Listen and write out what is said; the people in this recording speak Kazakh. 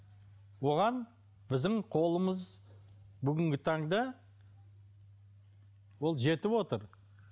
оған біздің қолымыз бүгінгі таңда бұл жетіп отыр